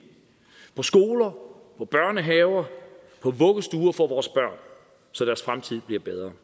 på skoler på børnehaver på vuggestuer for vores børn så deres fremtid bliver bedre